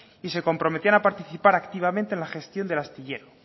y se comprometían a participar activamente en la gestión del astillero